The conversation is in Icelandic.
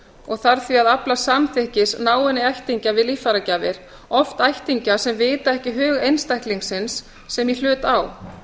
og þarf því að afla samþykkis náinna ættingja við líffæragjafir oft ættingja sem vita ekki hug einstaklingsins sem í hlut á